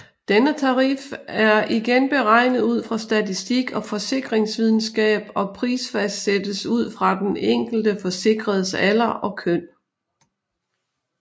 Denne tarif er igen beregnet ud fra statistik og forsikringsvidenskab og prisfastsættes ud fra den enkelte forsikredes alder og køn